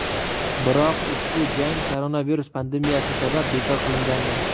Biroq ushbu jang koronavirus pandemiyasi sabab bekor qilingandi.